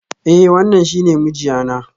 Eh, wannan shi ne mijiya na.